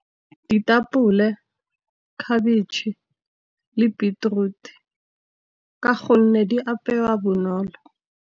Ditapole, khabetšhe le beetroot ka gonne di apewa bonolo.